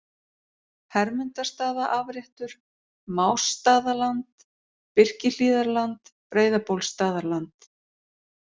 Hermundarstaðaafréttur, Másstaðaland, Birkihlíðarland, Breiðabólsstaðarland